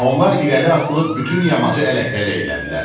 Onlar irəli atılıb bütün yamacı ələk-vələk elədilər.